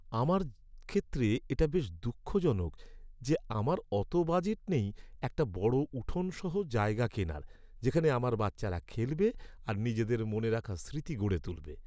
আমার ক্ষেত্রে এটা বেশ দুঃখজনক যে আমার অত বাজেট নেই একটা বড় উঠোন সহ জায়গা কেনার যেখানে আমার বাচ্চারা খেলবে আর নিজেদের মনে রাখার স্মৃতি গড়ে তুলবে।